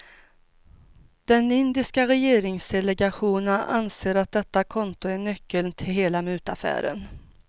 Den indiska regeringsdelegationen anser att detta konto är nyckeln till hela mutaffären.